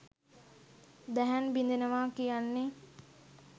දැහැන් බිඳෙනවා කියන්නේ